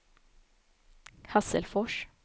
Hasselfors